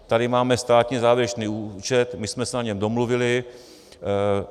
Tady máme státní závěrečný účet, my jsme se na něm domluvili.